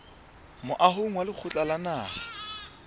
moahong wa lekgotla la naha